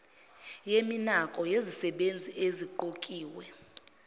yeminako yezisebenzi eziqokiwe